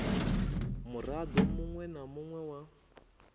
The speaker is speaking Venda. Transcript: muraḓo muṅwe na muṅwe wa